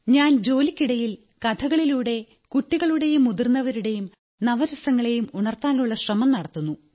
ഞാൻ ജോലിക്കിടയിൽ കഥകളിലൂടെ കുട്ടികളുടെയും മുതിർന്നവരുടെയും നവരസങ്ങളെയും ഉണർത്താനുള്ള ശ്രമം നടത്തുന്നു